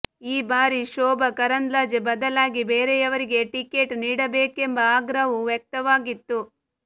ಈ ಬಾರಿ ಶೋಭಾ ಕರಂದ್ಲಾಜೆ ಬದಲಾಗಿ ಬೇರೆಯವರಿಗೆ ಟಿಕೇಟ್ ನೀಡಬೇಕೆಂಬ ಆಗ್ರಹವೂ ವ್ಯಕ್ತವಾಗಿತ್ತು